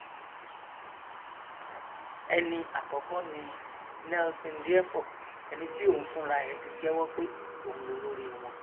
ẹni àkọkọ ni nelson diefor ẹni tí òun fúnra ẹ ti jẹwọ pé òun lolórí wọn